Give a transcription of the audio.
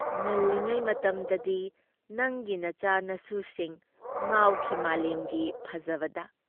ꯉꯜꯂꯤꯉꯩ ꯃꯇꯝꯗꯗꯤ ꯅꯪꯒꯤ ꯅꯆꯥ-ꯅꯁꯨꯁꯤꯡ ꯉꯥꯎꯈꯤ ꯃꯥꯂꯦꯝꯒꯤ ꯐꯖꯕꯗ ꯫